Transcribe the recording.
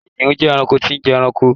kìnìún je ẹranko tí n je ẹranko